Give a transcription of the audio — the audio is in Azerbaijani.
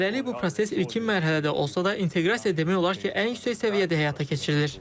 Hələlik bu proses ilkin mərhələdə olsa da, inteqrasiya demək olar ki, ən yüksək səviyyədə həyata keçirilir.